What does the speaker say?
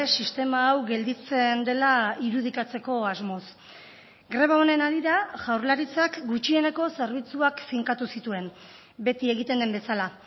sistema hau gelditzen dela irudikatzeko asmoz greba honen harira jaurlaritzak gutxieneko zerbitzuak finkatu zituen beti egiten den bezala